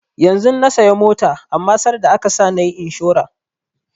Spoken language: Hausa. Yanzun na saya mota amma sarda aka sa nayi inshora